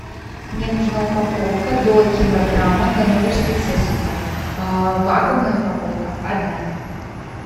мне нужна упаковка до килограмма ганноверских сосисок вакуумная упаковка одна